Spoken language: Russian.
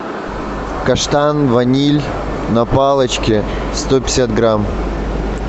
каштан ваниль на палочке сто пятьдесят грамм